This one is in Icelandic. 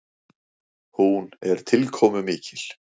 Hún er tilkomumikil.